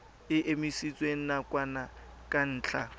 e emisitswe nakwana ka ntlha